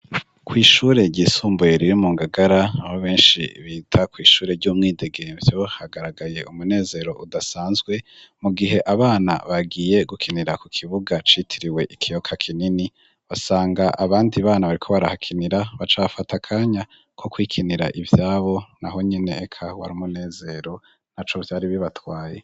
Kw'ishure ryisumbuye riri mu Ngagara aho benshi bita kw'ishure ry'umwidegemvyo hagaragaye umunezero udasanzwe mu gihe abana bagiye gukinira ku kibuga citiriwe ikiyaga kinini basanga abandi bana bariko barahakinira bacafata kanya ko kwikinira ivyabo naho nyene eka wari umunezero naco vyari bibatwaye.